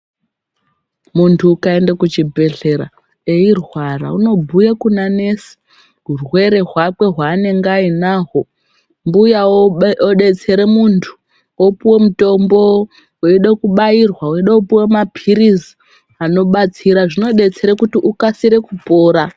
Muntu ukaende kuchibhedhlera, eirwara unobhuya kuna nesi hurwere kwake hweanenge ainahwo, mbuya odetsere muntu, opiwa mutombo, weide kubairwa, weide kupiwe maphiritsi anobatsira, zvinobetsera kuti ukasire kupora.